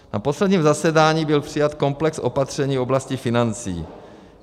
Na posledním zasedání byl přijat komplex opatření v oblasti financí.